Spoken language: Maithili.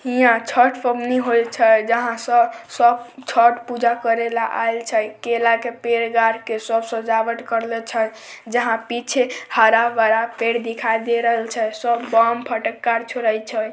हीया छठ पवनी होय छै जहां सब छठ पूजा करे ले आएल छै केला के पेड़ गार के सब सजावट करले छै सब बम पटखा फोड़े छै।